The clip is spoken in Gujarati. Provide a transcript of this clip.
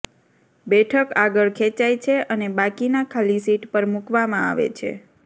બેઠક આગળ ખેંચાય છે અને બાકીના ખાલી સીટ પર મૂકવામાં આવે છે